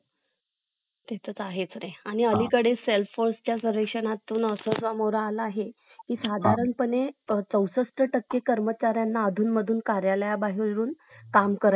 अं आणखी add करायचं होत mam.